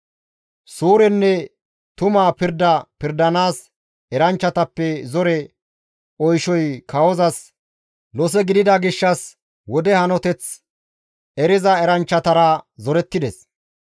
Suurenne tuma pirda pirdanaas eranchchatappe zore oyshoy kawozas lose gidida gishshas wode hanoteth eriza eranchchatara zorettides.